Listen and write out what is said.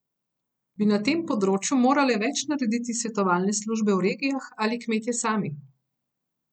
Bi na tem področju morale več narediti svetovalne službe v regijah ali kmetje sami?